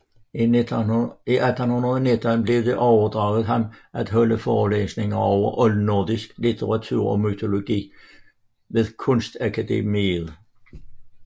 I 1819 blev det overdraget ham at holde forelæsninger over oldnordisk litteratur og mytologi ved Kunstakademiet